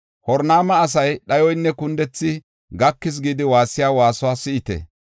Horonayma asay, ‘Dhayoynne kundethi, gakis’ gidi waassiya waasuwa si7ite!